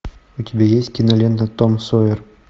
у тебя есть кинолента том сойер